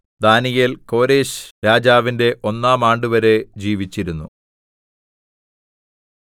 ദാനീയേൽ കോരെശ്‌രാജാവിന്റെ ഒന്നാം ആണ്ടുവരെ ജീവിച്ചിരുന്നു